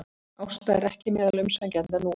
Ásta er ekki meðal umsækjenda nú